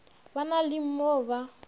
ba na le mo ba